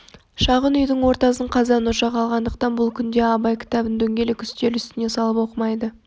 шағын үйдің ортасын қазан-ошақ алғандықтан бұл күнде абай кітабын дөңгелек үстел үстіне салып оқымайды